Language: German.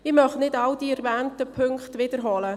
Ich möchte nicht alle erwähnten Punkte wiederholen.